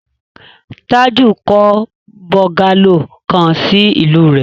Tájù kọ́ bọ́ńgálò kan sí ìlú rẹ̀.